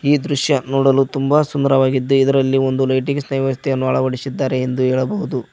ಈ ದೃಶ್ಯ ನೋಡಲು ತುಂಬಾ ಸುಂದರವಾಗಿದ್ದೆ ಇದರಲ್ಲಿ ಒಂದು ಲೈಟಿಂಗ್ ನ ಅವಸ್ಥೆ ಅಳವಡಿಸಿದ್ದಾರೆ ಎಂದು ಹೇಳಬಹುದು.